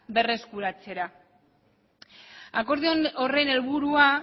berreskuratzera akordio horren helburua